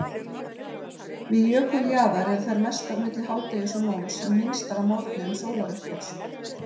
Við jökuljaðar eru þær mestar milli hádegis og nóns en minnstar að morgni um sólarupprás.